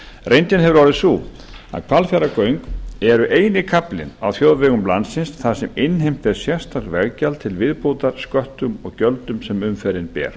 reyndin hefur orðið sú að hvalfjarðargöng eru eini kaflinn á þjóðvegum landsins þar sem innheimt er sérstakt veggjald til viðbótar sköttum og gjöldum sem umferðin ber